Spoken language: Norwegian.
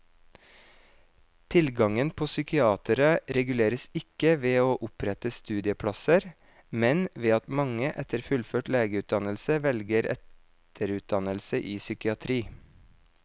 Tilgangen på psykiatere reguleres ikke ved å opprette studieplasser, men ved at mange etter fullført legeutdannelse velger etterutdannelse i psykiatri.